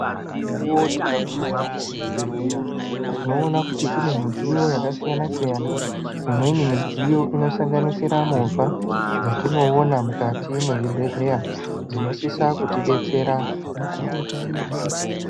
Nedzimwe mukuwo tikaguma kuzvibhedhleya tinoona kuti kune midziyo yakasiyana siyana. Imweni midziyo inosanganisira movha dzatinoona mukati mwezvibhedhleya dzinosisa kutidetsera.